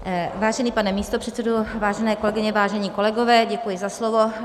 Vážený pane místopředsedo, vážené kolegyně, vážení kolegové, děkuji za slovo.